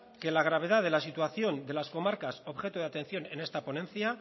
que la gravedad de la situación de las comarcas objeto de atención en esta ponencia